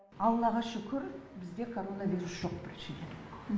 аллаға шүкір бізде коронавирус жоқ біріншіден